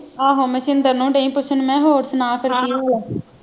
ਆਹੋ ਮੈਂ ਸ਼ਿਦਰ ਨੂੰ ਦਈ ਪੁੱਛਣ ਮੈਂ ਹੋਰ ਸੁਣਾ ਫਿਰ ਕਿ ਹੋਇਆ